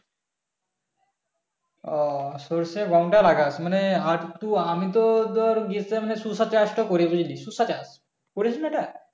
উম সর্ষে গম টা লাগাস মানে আরেকটু মানে আমি তো ধর গ্রীষ্ম তে শসা চাষ তা করি শসা চাষ করিসনা এটা